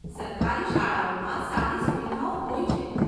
સરકારી શાળાઓમાં સારી સુવિધાઓ હોય છે.